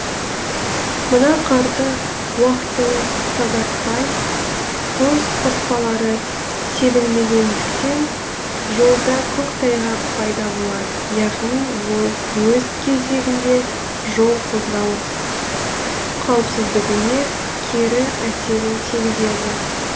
мына қарды уақытылы тазартпай тұз қоспалары себілмегендіктен жолда көктайғақ пайда болады яғни ол өз кезегінде жол қозғалыс қауіпсіздігіне кері әсерін тигізеді